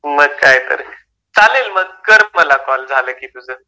मग काय तर. चालेल मग कर मला कॉल झालं की तुझं.